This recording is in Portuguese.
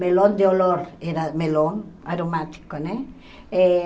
Melão de olor, era melão aromático, né? Eh